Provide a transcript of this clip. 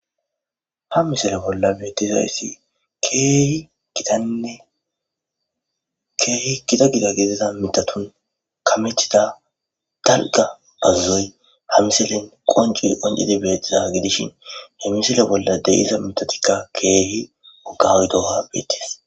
Ha misile bolla betishe kehi gitanne kehi gita gita gidida kametida daligga qonceyi qoncidi betishini ha misile bollani deyiza mithati wogatid betesi